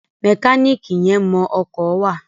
Mẹkáníìkì yẹn mọ ọkọ̀ wà.